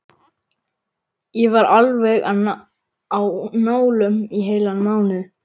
Ég var alveg á nálum í heilan mánuð.